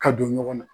Ka don ɲɔgɔn na